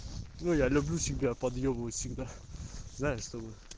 ну я люблю себя подъёбывать всегда знаешь чтобы